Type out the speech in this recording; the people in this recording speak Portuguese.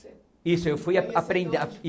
Isso eu fui a